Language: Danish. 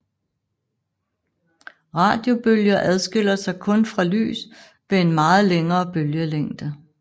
Radiobølger adskiller sig kun fra lys ved en meget længere bølgelængde